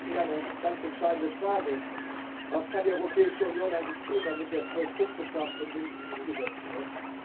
Für mich stellt sich eine ganz entscheidende Frage Was kann die Europäische Union eigentlich tun, damit der Zwölf Punkte Plan von Minsk umgesetzt wird?